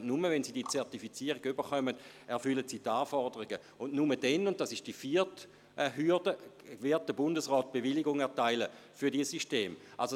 Nur wenn sie diese Zertifizierung erhalten, erfüllen sie die Anforderungen, und nur dann – dies ist die vierte Hürde – wird der Bundesrat die Bewilligung für diese Systeme erteilen.